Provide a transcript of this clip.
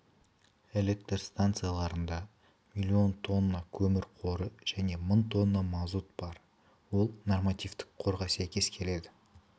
электр станцияларында миллион тонна көмір қоры және мың тонна мазут бар ол нормативтік қорға сәйкес келеді